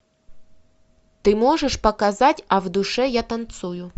ты можешь показать а в душе я танцую